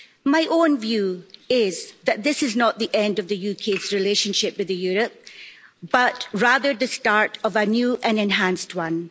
My own view is that this is not the end of the UK's relationship with Europe, but rather the start of a new and enhanced one.